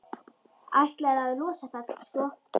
Ætlaði að losa það, sko.